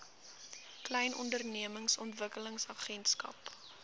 klein ondernemings ontwikkelingsagentskap